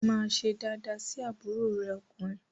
Máa ṣe daadaa sí àbúrò rẹ ọkùnrin!